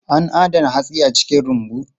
An adana hatsi a cikin rumbu.